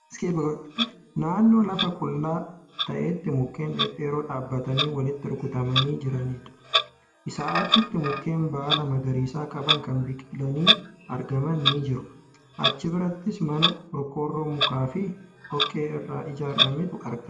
Naannoo lafa qullaa ta'etti mukkeen dhedheeroo dhaabatanii walitti rurrukutamanii jiranidha. Isaa achitti mukkeen baala magariisa qaban kan biqilanii argaman ni jiru. Achi birattis mana qorqoorroo mukaafi dhoqqee irraa ijaarametu argama.